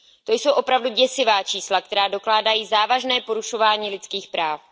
To jsou opravdu děsivá čísla, která dokládají závažné porušování lidských práv.